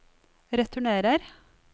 returnerer